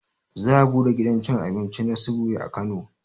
Za a buɗe gidan cin abinci na subway a kano